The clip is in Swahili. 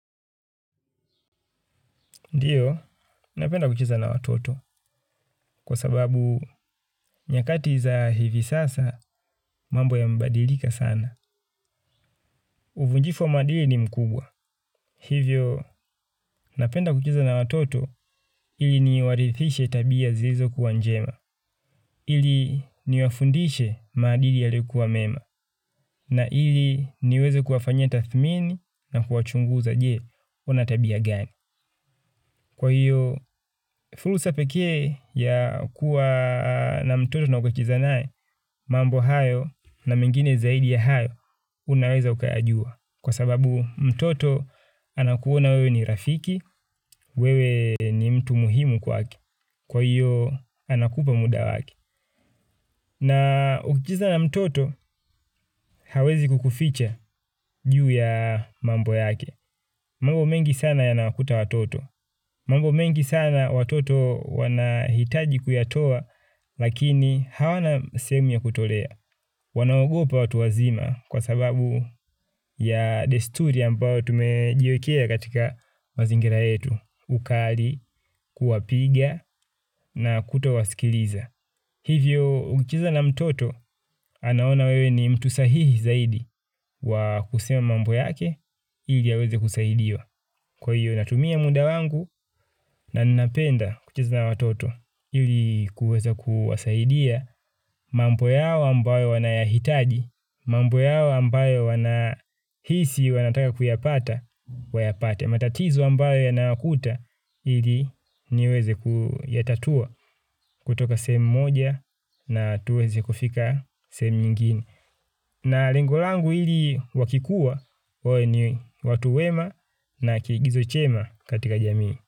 Ndiyo, napenda kucheza na watoto kwa sababu nyakati za hivi sasa mambo yamebadilika sana. Uvunjifu wa maadili ni mkubwa. Hivyo, napenda kucheza na watoto ili niwaridhishe tabia zilizo kuwa njema. Ili niwafundishe maadili yaliokuwa mema na ili niweze kuwafanyis tathmini na kuwachunguza je wana tabia gani. Kwa hiyo, fursa pekee ya kuwa na mtoto na ukacheza naye, mambo hayo na mengine zaidi ya hayo, unaweza ukayajua. Kwa sababu, mtoto anakuona wewe ni rafiki, wewe ni mtu muhimu kwake. Kwa hiyo, anakupa muda wake. Na ukicheza na mtoto, hawezi kukuficha juu ya mambo yake. Mambo mengi sana yanawakuta watoto. Mambo mengi sana watoto wanahitaji kuyatoa lakini hawana sehemu ya kutolea. Wanaogopa watu wazima kwa sababu ya desturi ambayo tumejiwekea katika mazingira yetu ukali kuwapiga na kutowasikiliza. Hivyo ukicheza na mtoto anaona wewe ni mtu sahihi zaidi wa kusema mambo yake ili aweze kusaidiwa. Kwa hiyo natumia muda wangu na ninapenda kucheza na watoto ili kuweza kuwasaidia mambo yao ambayo wanayahitaji, mambo yao ambayo wanahisi wanataka kuyapata, matatizo ambayo yanawakuta ili niweze kuyatatua kutoka sehemu moja na tuweze kufika sehemu nyingine. Na lengo langu ili wakikuwa wawe ni watu wema na kiigizo chema katika jamii.